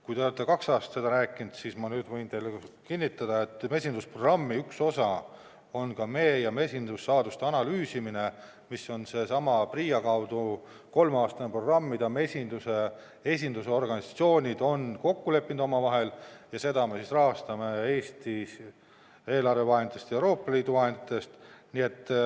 Kui te olete kaks aastat seda rääkinud, siis ma nüüd võin teile kinnitada, et mesindusprogrammi üks osa on ka mee ja mesindussaaduste analüüsimine, mis on seesama PRIA kolmeaastane programm, mille mesinduse esindusorganisatsioonid on omavahel kokku leppinud, ja seda me rahastame Eesti eelarve vahenditest ja Euroopa Liidu vahenditest.